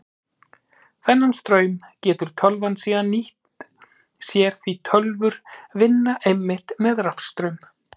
Þennan straum getur tölvan síðan nýtt sér því tölvur vinna einmitt með rafstraum.